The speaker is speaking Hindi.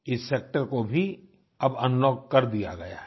इस सेक्टर को भी अब अनलॉक कर दिया गया है